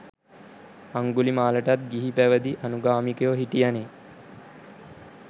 අංගුලිමාලටත් ගිහිපැවදි අනුගාමිකයො හිටියනෙ.